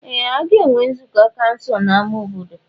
Ee! A ga-enwe nzukọ kansụl n'ámá obodo.